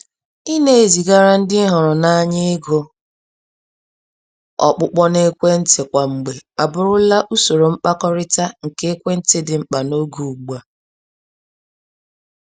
Ị na-ezigara ndị ị hụrụ n'anya ego ọkpụkpọ n'ekwentị kwa mgbe abụrụla usoro mkpakọrịta nke ekwentị dị mkpa n'oge ugbua.